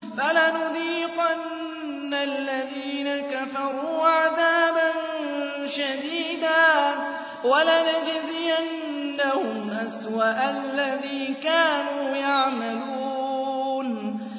فَلَنُذِيقَنَّ الَّذِينَ كَفَرُوا عَذَابًا شَدِيدًا وَلَنَجْزِيَنَّهُمْ أَسْوَأَ الَّذِي كَانُوا يَعْمَلُونَ